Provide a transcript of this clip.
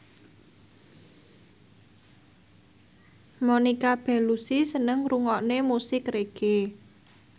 Monica Belluci seneng ngrungokne musik reggae